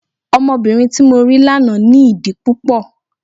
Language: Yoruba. Ọmọbìnrin tí mo rí lánàá ní ìdí púpọ̀.